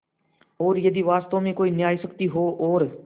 और यदि वास्तव में कोई न्यायशक्ति हो और